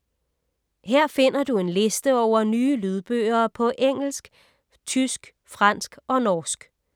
Her finder du en liste over nye lydbøger på engelsk, tysk, fransk og norsk.